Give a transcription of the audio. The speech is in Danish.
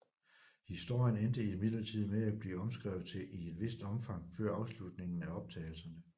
Historien endte imidlertid med at blive omskrevet i et vist omfang før afslutningen på optagelserne